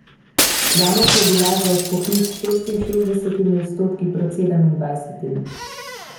Javnost je bila za odpoklic s šestinšestdesetimi odstotki proti sedemindvajsetim.